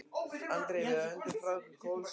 Andri: Við öndum frá okkur kolsýru.